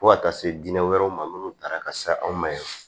Fo ka taa se diinɛ wɛrɛw ma minnu taara ka se anw ma yan